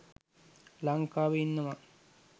ලංකාවෙ ඉන්නවා.